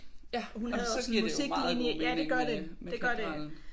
Jamen så giver det jo meget god mening med med Katedralen